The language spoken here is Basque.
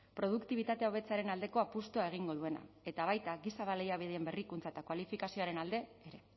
produktibitatea hobetzearen aldeko apustua egingo duena eta baita giza baliabideen berrikuntza eta kualifikazioaren alde ere